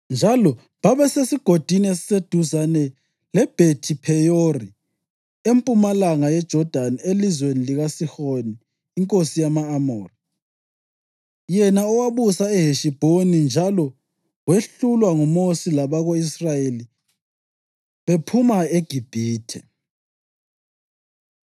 njalo babesesigodini esiseduzane leBhethi-Pheyori empumalanga yeJodani elizweni likaSihoni inkosi yama-Amori, yena owabusa eHeshibhoni njalo wehlulwa nguMosi labako-Israyeli bephuma eGibhithe.